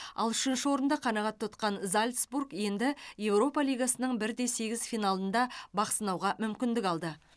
ал үшінші орынды қанғат тұтқан зальцбург енді еуропа лигасының бір де сегіз финалында бақсынауға мүмкіндік алды